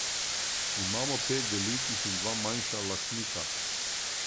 Imamo pet velikih in dva manjša lastnika.